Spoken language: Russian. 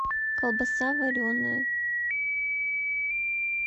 колбаса вареная